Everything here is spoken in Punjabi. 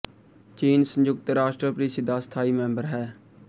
ਚੀਨ ਸੰਯੁਕਤ ਰਾਸ਼ਟਰ ਪ੍ਰੀਸ਼ਦ ਦਾ ਸਥਾਈ ਮੈਂਬਰ ਹੈ